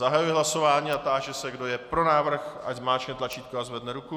Zahajuji hlasování a táži se, kdo je pro návrh, ať zmáčkne tlačítko a zvedne ruku.